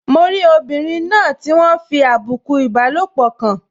Mo rí obìnrin náà tí wọ́n fi àbùkù ìbálòpọ̀ kàn